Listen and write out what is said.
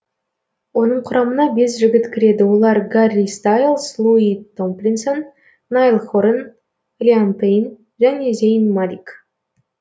оның құрамына бес жігіт кіреді олар гарри стайлс луи томлинсон найл хоран лиам пейн және зейн малик